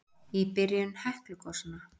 Í byrjun Heklugosanna